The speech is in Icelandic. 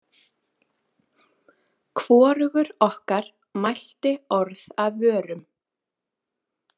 Hvorugur okkar mælti orð af vörum.